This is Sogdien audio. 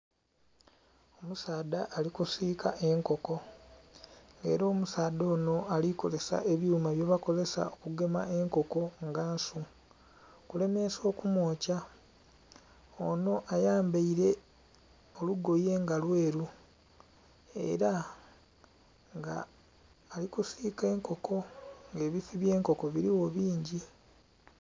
Omusaadha ali kusiika enkoko, ela omusaadha onho alikozesa ebyuma byebakozesa okugema enkoko nga nsu, okulemeesa okumwokya. Onho ayambaile olugoye nga lweru, ela nga ali kusiika enkoko. Ebifi byenkoko biligho bingi.